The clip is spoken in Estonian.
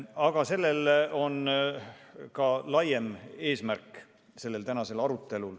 Tänasel arutelul on ka laiem eesmärk.